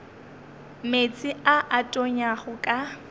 meetse a a tonyago ka